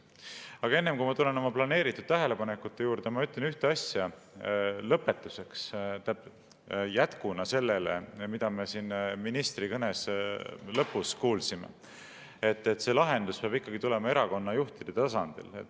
Aga enne, kui ma tulen oma planeeritud tähelepanekute juurde, ma ütlen ühe asja lõpetuseks, jätkuna sellele, mida me siin ka ministrilt kuulsime: see lahendus peab ikkagi tulema erakonnajuhtide tasandilt.